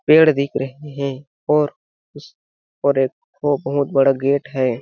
पेड़ दिख रहे हैं और और उसपर एक बहुत बड़ा गेट है।